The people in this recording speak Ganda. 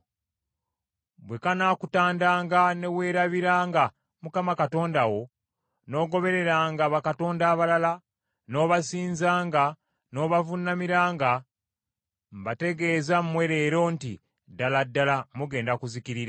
“Bwe kanaakutandanga ne weerabiranga Mukama Katonda wo, n’ogobereranga bakatonda abalala, n’obasinzanga n’obavuunamiranga, mbategeeza mmwe leero nti ddala ddala mugenda kuzikirira.